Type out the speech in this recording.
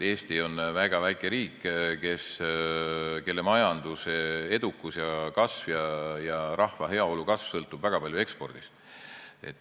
Eesti on väga väike riik, kelle majanduse edukus ja kasv ning rahva heaolu kasv sõltuvad väga palju ekspordist.